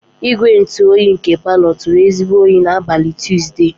Igwe ntụ oyi nke parlor turu ezigbo oyi n'abalị Tuzdee.